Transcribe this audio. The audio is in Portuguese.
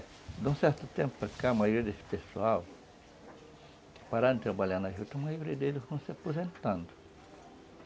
de um certo tempo para cá, a maioria desse pessoal pararam de trabalhar na juta e a maioria deles estão se aposentando.